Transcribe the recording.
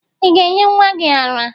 Ị ga-enye nwa gị àrá?